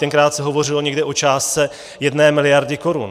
Tenkrát se hovořilo někde o částce jedné miliardy korun.